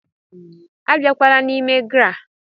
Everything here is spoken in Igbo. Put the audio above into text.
Abakwala n'ime GRA!